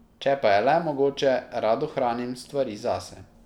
Če pa je le mogoče, rad ohranim stvari zase.